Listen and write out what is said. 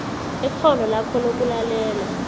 ikghono lakho lokulalela